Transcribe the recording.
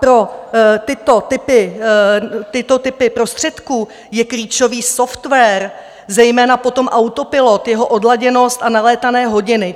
Pro tyto typy prostředků je klíčový software, zejména potom autopilot, jeho odladěnost a nalétané hodiny.